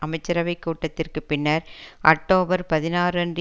அமைச்சரவைக் கூட்டத்திற்குப் பின்னர் அட்டோபர் பதினாறு அன்று